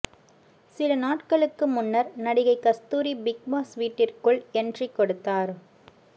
சில நாட்களுக்கு முன்னர் நடிகை கஸ்தூரி பிக்பாஸ் வீட்டிற்குள் எண்ட்ரி கொடுத்தார்